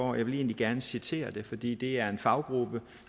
og jeg vil egentlig gerne citere det fordi det er en faggruppe